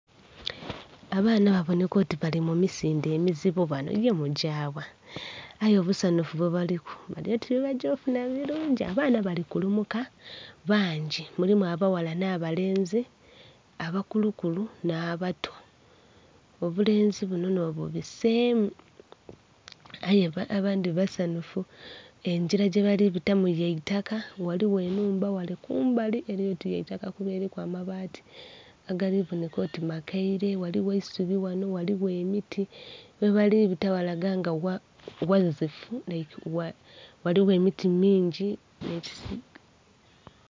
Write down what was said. Abaana gabonheka oti bali mu misindhe amizibu banho ye mugya gha? Aye obusanhufu bwe baliku bali oti byebagya okufunha birungi. Abaana bali kulumuka banho mulimu abaghala nha balenzi abakulukulu nha bato obulenzi bunho nho bubisemu aye abandhi basanhufu engira gye bali bitamu ya itaka ghaligho enhumba ghale kumbali eryoti ya itaka kuba eriku amabati agali bonheka oti makeire, ghaligho eisubi ghanho, ghaligho emiti. Ghebali bita ghalaga nti ghazifu ghaligho emiti mingi nhe....